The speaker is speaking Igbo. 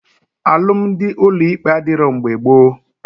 Alụmdi ụlọ ikpe adịrọ mgbe gboo